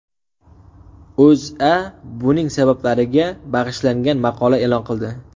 O‘zA buning sabablariga bag‘ishlangan maqola e’lon qildi .